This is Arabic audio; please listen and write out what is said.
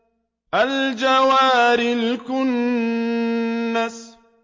الْجَوَارِ الْكُنَّسِ